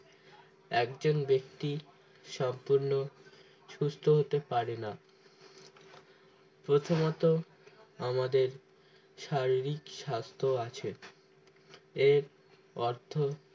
একজন ব্যক্তি সম্পূর্ণ সুস্থ হতে পারেনা প্রথমত আমাদের শারীরিক স্বাস্থ্য আছে এর অর্থ